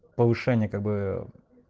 повышение как бы